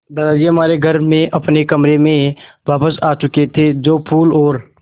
दादाजी हमारे घर में अपने कमरे में वापस आ चुके थे जो फूलों और